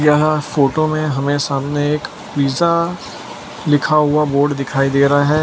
यहां फोटो में हमें सामने एक पिज्जा लिखा हुआ बोर्ड दिखाई दे रहा है।